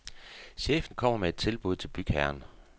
Chefen kommer med et tilbud til bygherren.